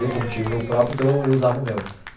Eu como tinha o meu próprio, então eu eu usava o meu.